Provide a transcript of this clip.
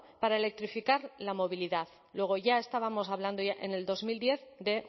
para electrificar la movilidad luego ya estábamos hablando ya en el dos mil diez de